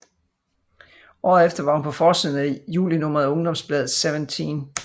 Året efter var hun på forsiden af julinummeret af ungdomsbladet Seventeen